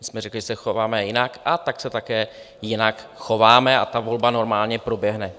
My jsme řekli, že se chováme jinak, a tak se také jinak chováme, a ta volba normálně proběhne.